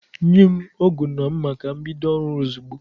Nye m ọgu na mma ka m bido ọrụ ozugbo